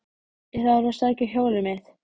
Ég þarf að sækja hjólið mitt.